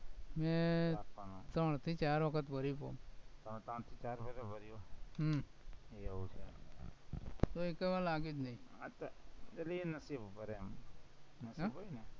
મેં ત્રણથી ચાર વખત ભરું તું, ત્રણથી ચાર વખત ભર્યું એમ? હમ એવું છે, એ એકોઈમાં લાગે જ નઈ આતો નથી ભર્યા મેં